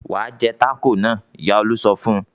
"Wà á jẹ tákò yẹn!" Ìyá Olú sọ fún un.